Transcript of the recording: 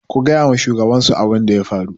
ku gaya wa shugabansu abin da ya faru?